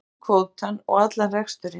Bátinn, kvótann og allan reksturinn.